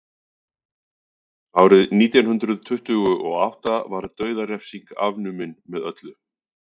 árið nítján hundrað tuttugu og átta var dauðarefsing afnumin með öllu